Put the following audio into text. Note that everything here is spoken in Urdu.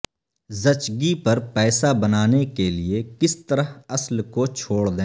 زچگی پر پیسہ بنانے کے لئے کس طرح اصل کو چھوڑ دیں